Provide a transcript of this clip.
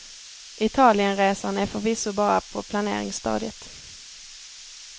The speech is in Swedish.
Italienresan är förvisso bara på planeringsstadiet.